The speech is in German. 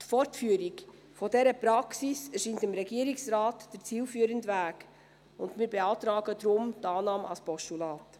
Die Fortführung dieser Praxis scheint dem Regierungsrat der zielführende Weg, und wir beantragen daher die Annahme als Postulat.